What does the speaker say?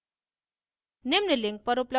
और value print करें